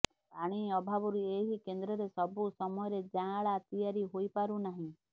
ପାଣି ଅଭାବରୁ ଏହି କେନ୍ଦ୍ରରେ ସବୁ ସମୟରେ ଜାଆଁଳା ତିଆରି ହେଇପାରୁନାହିଁ